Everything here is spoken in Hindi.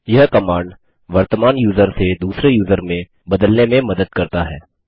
यह कमांड वर्तमान यूज़र से दूसरे यूज़र में बदलने में मदद करता है